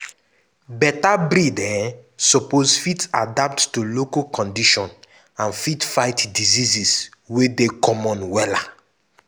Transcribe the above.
better breed um suppose fit adapt to local condition and fit fight disease wey dey common wella.